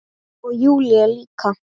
Og Júlía líka.